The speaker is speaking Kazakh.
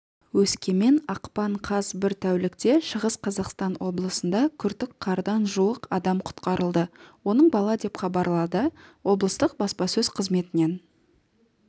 өскемен ақпан қаз бір тәулікте шығыс қазақстан облысында күртік қардан жуық адам құтқарылды оның бала деп хабарлады облыстық баспасөз қызметінен